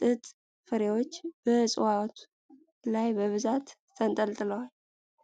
ጥጥ ፍሬዎች በእጽዋቱ ላይ በብዛት ተንጠልጥለዋል።